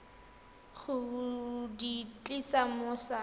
go di tlisa mo sa